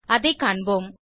அதைக் காண்போம்